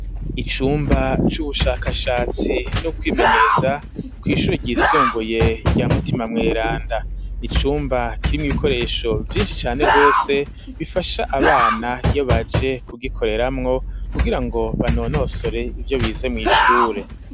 Icumba c'ubushakashatsi no kwimenyereza kw'ishure ryisumbuye rya mutima mweranda n'icumba kiri mw'ibikoresho vyishi cane gose bifasha abana iyobaje ku gikoreramwo kugira ngo banonosore ivyo bize mw'ishure.